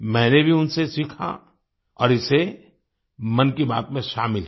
मैंने भी उनसे सीखा और इसे मन की बात में शामिल किया